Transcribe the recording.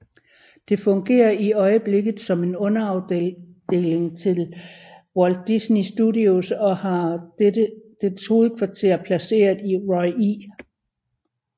Det fungerer i øjeblikket som en underafdeling til Walt Disney Studios og har dets hovedkvarter placeret i Roy E